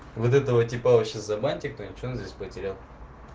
вот этого типа вообще забаньте кто-нибудь что он здесь потерял